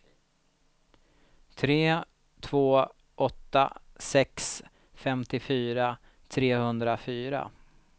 tre två åtta sex femtiofyra trehundrafyra